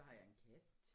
Så har jeg en kat